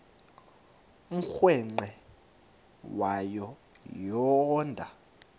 umrweqe wayo yoonda